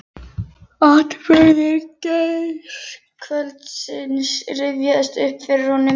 Atburðir gærkvöldsins rifjast upp fyrir honum.